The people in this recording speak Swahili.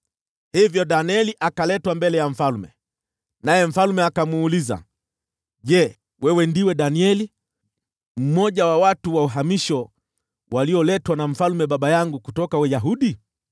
Hivyo Danieli akaletwa mbele ya mfalme, naye mfalme akamuuliza, “Je, wewe ndiwe Danieli, mmoja wa watu wa uhamisho walioletwa na mfalme baba yangu kutoka Yuda?